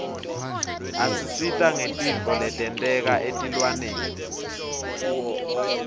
isisita ngetintfo letenteka etilwaneni